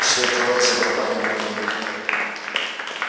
все трое забарабанили в дверь